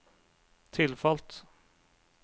tilfalt